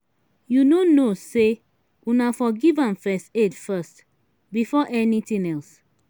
you no know say una for give am first aid first before anything else.